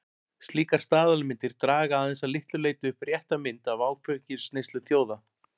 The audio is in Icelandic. Slíkar staðalmyndir draga aðeins að litlu leyti upp rétta mynd af áfengisneyslu þjóða.